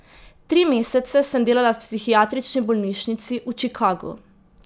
Tri mesece sem delala v psihiatrični bolnišnici v Čikagu.